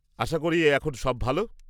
আশা করি এখন সব ভাল?